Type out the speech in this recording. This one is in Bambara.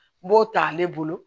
N b'o ta ale bolo